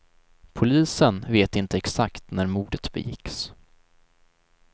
Polisen vet inte exakt när mordet begicks.